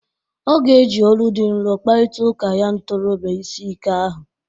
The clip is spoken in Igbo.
Ọ ga-eji olu dị nrọ kparịta ụka ya ntorọbịa ịsị ike ahụ.